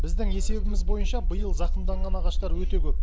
біздің есебіміз бойынша биыл зақымданған ағаштар өте көп